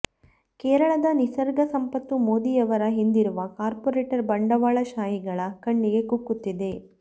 ಕೇರಳದ ನಿಸರ್ಗ ಸಂಪತ್ತು ಮೋದಿಯವರ ಹಿಂದಿರುವ ಕಾರ್ಪೊರೇಟ್ ಬಂಡವಾಳಶಾಹಿಗಳ ಕಣ್ಣಿಗೆ ಕುಕ್ಕುತ್ತಿದೆ